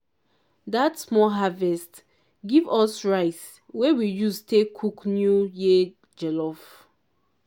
that small harvest give us rice wey we use tay cook new year jollof.